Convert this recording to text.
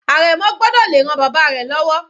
Àrẹ̀mọ gbọ́dọ̀ le ran bàbá rẹ̀ lọ́wọ́.